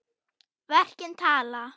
Verkin tala.